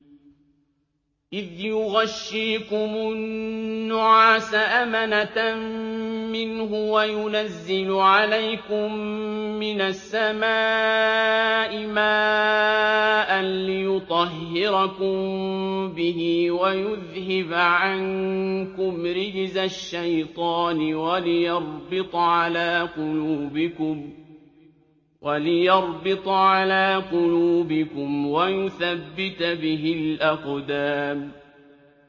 إِذْ يُغَشِّيكُمُ النُّعَاسَ أَمَنَةً مِّنْهُ وَيُنَزِّلُ عَلَيْكُم مِّنَ السَّمَاءِ مَاءً لِّيُطَهِّرَكُم بِهِ وَيُذْهِبَ عَنكُمْ رِجْزَ الشَّيْطَانِ وَلِيَرْبِطَ عَلَىٰ قُلُوبِكُمْ وَيُثَبِّتَ بِهِ الْأَقْدَامَ